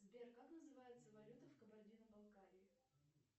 сбер как называется валюта в кабардино балкарии